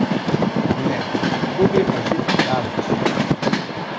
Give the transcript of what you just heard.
Ne, to gre pa že predaleč!